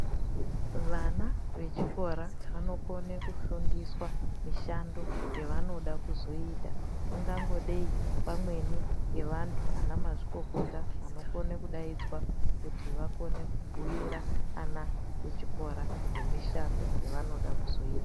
Vana vechikora vanokona kufundiswa mishando yavanoda kuzoita ingangodei imweni Yevantu Amweni ana mazvikokota anokona kudaidzwa kuti vakone kubhuira ana echikora nemishando yavanoda kuzoita.